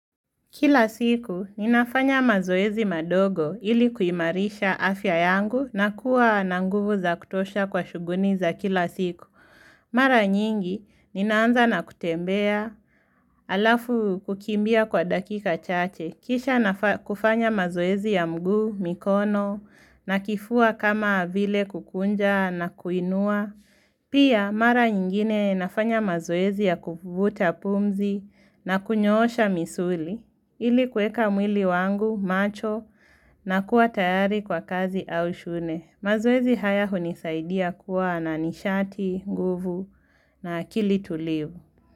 Kila siku, ninafanya mazoezi madogo ili kuimarisha afya yangu na kuwa nanguvu za kutosha kwa shuguni za kila siku. Mara nyingi, ninaanza na kutembea alafu kukimbia kwa dakika chache. Kisha nafa kufanya mazoezi ya mguu, mikono, na kifua kama avile kukunja na kuinua. Pia, mara nyingine nafanya mazoezi ya kuvuta pumzi na kunyoosha misuli. Ili kueka mwili wangu, macho na kuwa tayari kwa kazi au shune. Mazoezi haya hunisaidia kuwa na nishati, nguvu na akili tuliu.